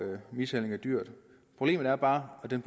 mishandling af dyr problemet er bare at den